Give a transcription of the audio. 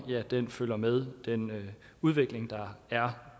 følger med den udvikling der er